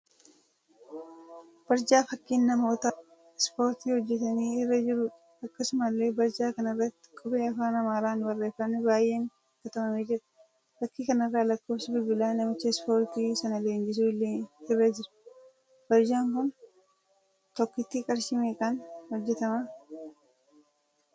Barjaa fakkiin namoota ispoortii hojjetanii irra jiruudha. Akkasumallee barjaa kana irratti qubee afaan Amaaraan barreeffamni baay'een katabamee jira. Fakkii kanarra lakkoofsi bilbilaa namicha ispoortii sana leenjisuu illee irra jira. Barjaan kun tokkotti qarshii meeqaan hojjetama?